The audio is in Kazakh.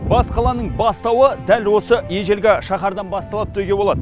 бас қаланың бастауы дәл осы ежелгі шаһардан басталды деуге болады